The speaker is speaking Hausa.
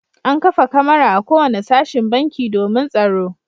An kafa kamara a kowane sashen banki domin tsaro.